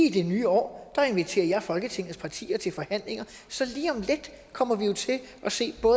i det nye år inviterer jeg folketingets partier til forhandlinger så lige om lidt kommer vi jo til at se på